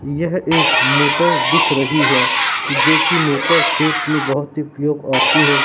यह एक मोटर दिख रही है जो कि मोटर खेत में बहुत ही उपयोग आती है।